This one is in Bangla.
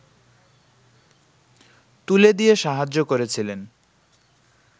তুলে দিয়ে সাহায্য করেছিলেন